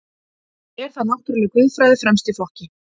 Er þar náttúruleg guðfræði fremst í flokki.